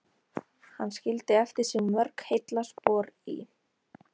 Hann skildi eftir sig mörg heillaspor í